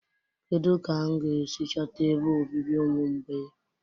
kedu ka m ga-esi chọta ebe obibi ụmụ mgbei?